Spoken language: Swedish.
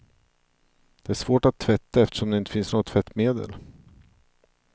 Det är svårt att tvätta, eftersom det inte finns något tvättmedel.